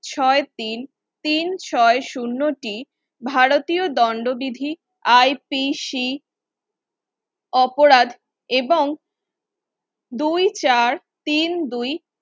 ছয় তিন তিন ছয় শুন্য তিন ভারতীয় দন্ডবিধি IPC অপরাধ এবং দুই চার তিন দুই